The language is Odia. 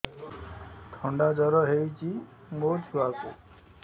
ଥଣ୍ଡା ଜର ହେଇଚି ମୋ ଛୁଆକୁ